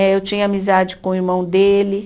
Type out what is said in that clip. Eh eu tinha amizade com o irmão dele